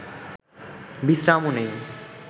বিশ্রামও নেই